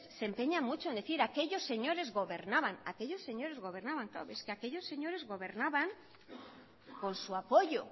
se empeñan mucho en decir aquellos señores gobernaban aquellos señores gobernaban pero es que aquellos señores gobernaban con su apoyo